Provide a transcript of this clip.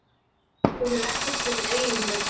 Þú hefur ekkert verið eigingjörn.